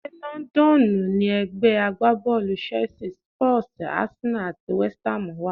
Ṣé Lọ́ńdọ́ọ̀nù ni ẹ̀gbẹ́ agbábọ́ọ̀lù Chelsea, Spurs, Arsenal àti West Ham wà?